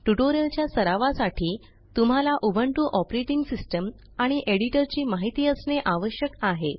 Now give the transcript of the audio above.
ट्युटोरियलच्या सरावासाठी तुम्हाला उबुंटू ओएस आणि एडिटर ची माहिती असणे आवश्यक आहे